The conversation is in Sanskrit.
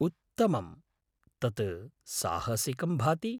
उत्तमम्! तत् साहसिकं भाति।